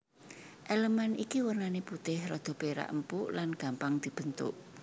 Elemen iki wernané putih rada perak empuk lan gampang dibentuk